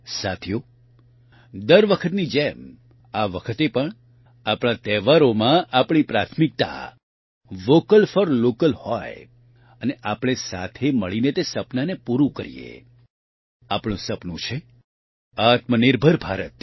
સાથીઓ દર વખતની જેમ આ વખતે પણ આપણા તહેવારોમાં આપણી પ્રાથમિકતા વોકલ ફોર લોકલ હોય અને આપણે મળીને તે સપનાને પૂરૂં કરીએ આપણું સપનું છે આત્મનિર્ભર ભારત